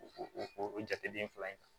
O o o o jateden fila in na